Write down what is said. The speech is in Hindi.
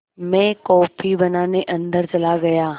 मैं कॉफ़ी बनाने अन्दर चला गया